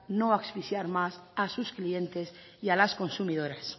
no asfixiar más a sus clientes y a las consumidoras